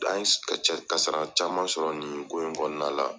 An ye kasara caman sɔrɔ nin ko in kɔnɔna la.